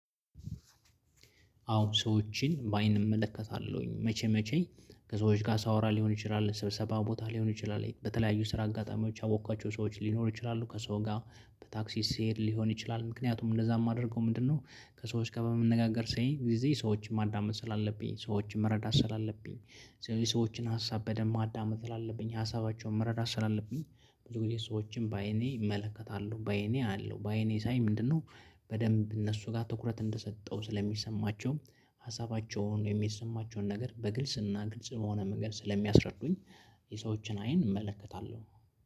አዎ ሰዎችን በአይን እመለከታለሁኝ መቼ መቼ ከሰዎች ጋር ሳወራ ሊሆን ይችላል ስብሰባ ቦታ ሊሆን ይችላል በተለያዩ ስራ አጋጣሚዎች ያወቅኳቸው ሰዎች ሊኖሩ ይችላሉ ከሰው ጋር በታክሲ ሲሄድ ሊሆን ይችላል ምክንያቱም እንደዛ የማደርገው ምንድነው? ከሰዎች ጋር በመነጋገር ሳይ ጊዜ ሰዎችን ማዳመጥ ስላለብኝ ሰዎችን መረዳት ስላለብኝ ሰዎችን ሀሳብ በደንብ ማዳመጥ ስላለብኝ ሀሳባቸውን መረዳት ስላለብኝ ብዙ ጊዜ ሰዎችን በአይኔ እመለከታለሁ በአይኔ አያለሁ በአይኔ ሳይ ምንድነው በደንብ እነሱ ጋር ትኩረት እንደሰጠው ስለሚሰማቸው ሀሳባቸውን የሚሰማቸውን ነገር በግልጽ እና ግልጽ በሆነ መንገድ ስለሚያስረዱኝ። የሰዎችን አይን እመለከታለሁ።